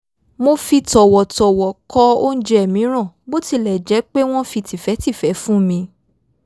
mo fi tọ̀wọ̀tọ̀wọ̀ kọ̀ óúnjẹ mìíràn bó tilẹ̀ jẹ́ pé wọ́n fi tìfẹ́tìfẹ́ fún mi